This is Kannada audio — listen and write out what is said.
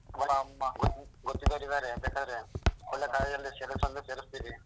ಗೊತ್ತಿದ್ದೋರು ಇದ್ದಾರೆ ಬೇಕಾದ್ರೆ ಒಳ್ಳೆ college ಅಲ್ಲಿ ಸೇರ್ಸು ಅಂದ್ರೆ ಸೇರ್ಸ್ತಿನಿ.